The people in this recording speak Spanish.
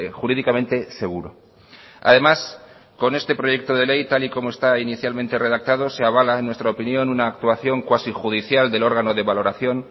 jurídicamente seguro además con este proyecto de ley tal y como estaba inicialmente redactado se avala en nuestra opinión una actuación cuasi judicial del órgano de valoración